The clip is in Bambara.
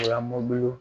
Lamɔ